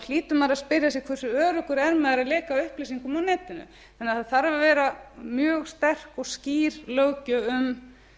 hlýtur maður að spyrja sig hversu öruggur er maður að leka upplýsingum á netinu þannig að það þarf að vera mjög sterk og skýr löggjöf um